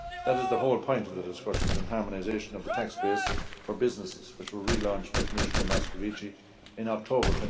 committed. That is the whole point of the discussions and harmonisation of the tax base for businesses, which were relaunched by Commissioner Moscovici in